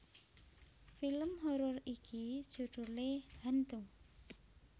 Film horor iki judhulé Hantu